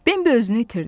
Bembi özünü itirdi.